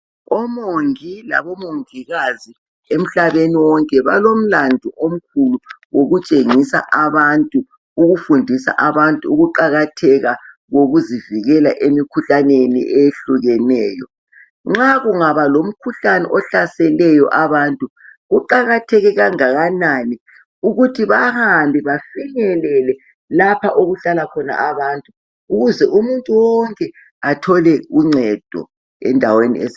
Omongi labomongikazi emhlabeni wonke balomlandu omkhulu wokutshengisa abantu ukufundisa abantu ukuqakatheka kokuzivikela emikhuhlaneni eyehlukeneyo i nxa kungaba lomkhuhlane ohlaseleyo abantu kuqakatheke kangakanani ukuthi bahambe bafinyelele lapha okuhlala khona abantu ukuze umuntu wonke athole uncedo endaweni